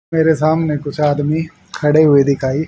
मेरे सामने कुछ आदमी खड़े हुए दिखाई--